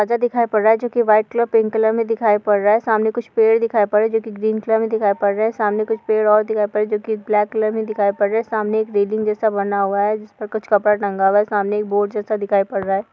पर्दा दिखाई पड़ रहा है जो की व्हाइट कलर पिंक कलर में दिखाई पड़ रहा है। सामने कुछ पेड़ दिखाई पड़ रहा है जो की ग्रीन कलर मे दिखाई पड़ रहा है। सामने कुछ पेड़ और दिखाई पड़ रहा है जोकि ब्लैक कलर दिखाई पड़ रहा है। सामने एक रेलिंग जैसा बना हुआ है जिस पर कुछ कपड़ा टंगा हुआ है। सामने एक बोर्ड जैसा दिखाई पड़ रहा है।